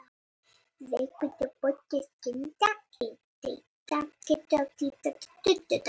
Leikurinn á móti Sindra í deildarbikarnum á síðasta sunnudag.